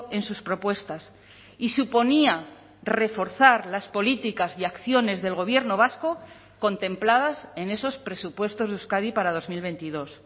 en sus propuestas y suponía reforzar las políticas y acciones del gobierno vasco contempladas en esos presupuestos de euskadi para dos mil veintidós